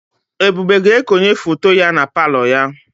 Ebube ga-ekonye foto ya na palọ ya.